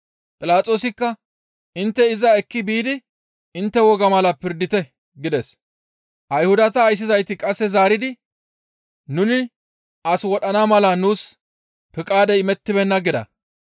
Philaxoosikka, «Intte iza ekki biidi intte wogaa mala pirdite» gides. Ayhudata ayssizayti qasse zaaridi, «Nuni as wodhana mala nuus piqaadey imettibeenna» gida.